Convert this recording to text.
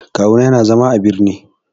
Kawu na yana zama a birni.